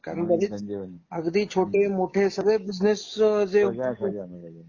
हो कारण बरीच अगदी छोटे मोठे सगळे बिसनेस जे खूप